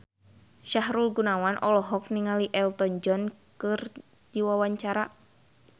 Sahrul Gunawan olohok ningali Elton John keur diwawancara